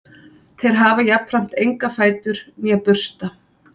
þeir hafa jafnframt enga fætur né bursta